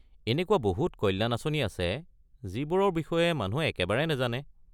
এনেকুৱা বহুত কল্যাণ আঁচনি আছে যিবোৰৰ বিষয়ে মানুহে একেবাৰে নাজানে।